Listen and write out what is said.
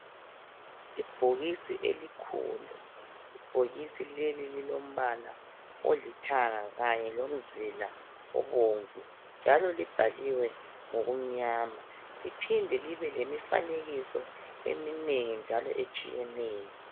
Ibhokisi elikhulu. Ibhokisi leli lilombala olithanga kanye lomzila obomvu. Njalo libhaliwe ngokumnyama. Liphinde libe ngemifanekiso eminengi njalo etshiyeneyo.